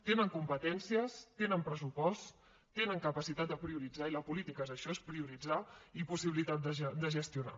tenen competències tenen pressupost tenen capacitat de prioritzar i la política és això és prioritzar i possibilitat de gestionar